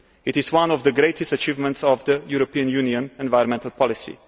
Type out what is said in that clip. It is one of the greatest achievements of European Union environmental policy.